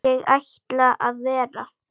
Ég ætla að vera.